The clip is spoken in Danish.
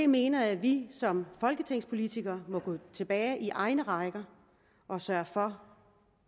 mener at vi som folketingspolitikere må gå tilbage i egne rækker og sørge for